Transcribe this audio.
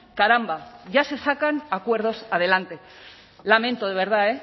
caramba ya se sacan acuerdos adelante lamento de verdad